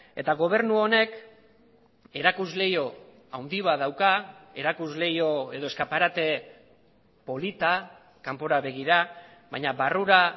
eta gobernu honek erakuslehio handi bat dauka erakuslehio edo eskaparate polita kanpora begira baina barrura